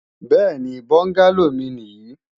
Bẹ́ẹ̀ni, bọ́ngálò mi nì yí